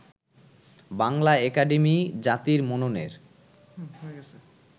Bangla academy জাতির মননের